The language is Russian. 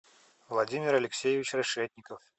владимир алексеевич решетников